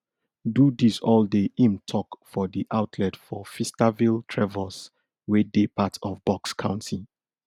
do dis all day im tok for di outlet for feastervilletrevose wey dey part of bucks county